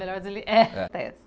Melhor.